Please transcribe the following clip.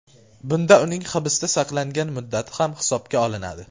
Bunda uning hibsda saqlangan muddati ham hisobga olinadi.